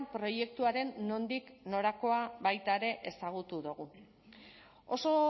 proiektuaren nondik norakoa baita ere ezagutu dugu oso